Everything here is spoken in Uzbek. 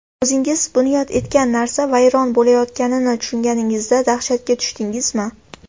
O‘zingiz bunyod etgan narsa vayron bo‘layotganini tushunganingizda dahshatga tushdingizmi?